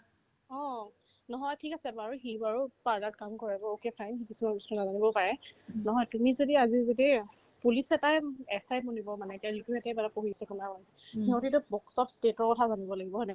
অ, নহয় ঠিক আছে বাৰু সি বাৰু কাম কৰে to ok fine সি কিছুমান বস্তু নাজানিবও পাৰে নহয় তুমি যদি আজি যদি police এটাই উম SI বনিব মানে এতিয়া যিটো একেবাৰে পঢ়িছে কলা-সংস্কৃতি সিহঁতেটো lots of states ৰ কথা জানিব লাগিব হয়নে না কোৱা ?